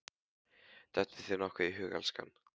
Dettur þér nokkuð í hug, elskan?